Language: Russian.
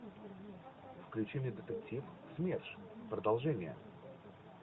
включи мне детектив смерш продолжение